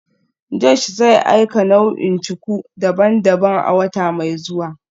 Josh zai aika nau'ikan cuku daban-daban a wata mai zuwa